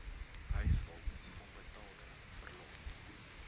huishulp onbetaalde verlof